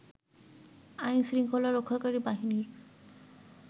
আইন-শৃঙ্খলা রক্ষাকারী বাহিনীর